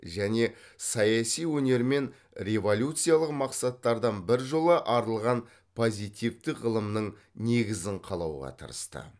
және саяси өнер мен революциялық мақсаттардан біржола арылған позитивтік ғылымның негізін қалауға тырысты